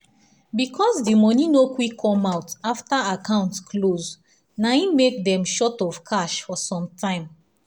because the money no quick come out after account close na hin make dem short of cash for some time